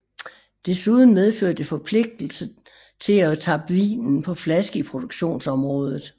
Desuden medfører det forpligtelsen til at tappe vinen på flaske i produktionsområdet